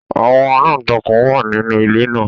Àwọn aláǹtakùn wà nínú ilé náà